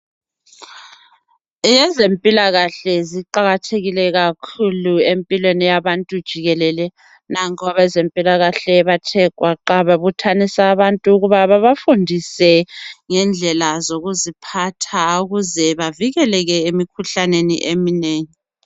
Ezempilakahle ziqakathekile kakhulu empilweni yabantu jikelele. Nanku abezempilakahle bathe gwaqa babuthanisa abantu ukuba babafundise ngendlela zokuziphatha ukuze bavikeleke emikhuhlaneni eminengi.